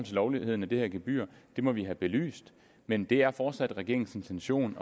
lovligheden af det her gebyr det må vi have belyst men det er fortsat regeringens intention